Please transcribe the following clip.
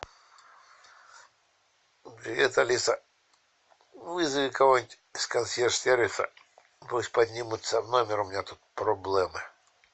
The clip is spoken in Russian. привет алиса вызови кого нибудь из консьерж сервиса пусть поднимутся в номер у меня тут проблемы